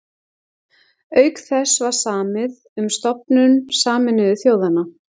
Auk þess var samið um stofnun Sameinuðu þjóðanna.